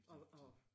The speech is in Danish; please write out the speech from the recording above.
De de de